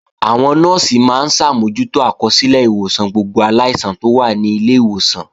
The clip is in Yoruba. Àwọn Nọ́ọ̀sì máa ń ṣàmójútó àkọsílẹ̀ ìwòsàn gbogbo aláìsàn tó wà ní ilé ìwòsàn